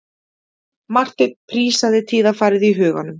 Marteinn prísaði tíðarfarið í huganum.